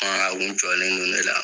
Baara a kun jɔlen don ne la